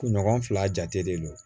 Kunɲɔgɔn fila jate de don